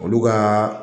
Olu ka